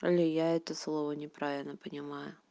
или я это слово неправильно понимаю